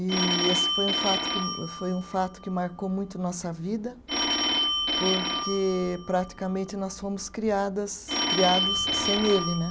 E esse foi um fato que, foi um fato que marcou muito nossa vida, porque praticamente nós fomos criadas, criados sem ele, né?